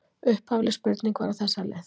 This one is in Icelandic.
Upphafleg spurning var á þessa leið: